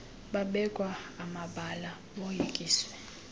babekwa amabala boyikiswe